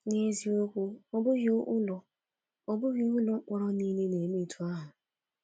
N’eziokwu, ọ bụghị ụlọ ọ bụghị ụlọ mkpọrọ nile na-eme otú ahụ.